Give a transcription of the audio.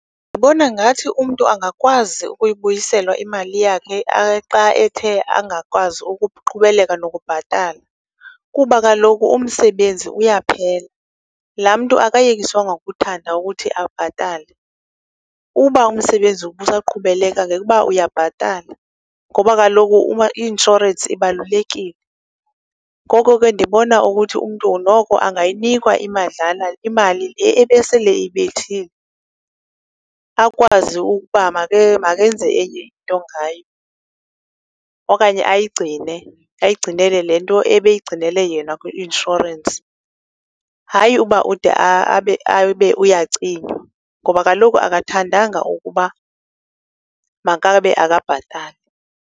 Ndibona ngathi umntu angakwazi ukubyiselwa imali yakhe xa ethe angakwazi ukuqhubeleka nokubhatala kuba kaloku umsebenzi uyaphela. Laa mntu akayekiswanga ngokuthanda ukuthi abhatale. Uba umsebenzi ubusaqhubeleka ngekuba uyabhatala, ngoba kaloku i-inshorensi ibalulekile. Ngoko ke ndibona ukuthi umntu noko angayinikwa imadlana, imali le ebesele eyibethile, akwazi ukuba makenze enye nto ngayo, okanye ayigcine, ayigcinele le nto ebeyigcinele yena kwi-inshorensi. Hayi uba ude abe uyacinywa ngoba kaloku akathandanga ukuba makabe akabhatali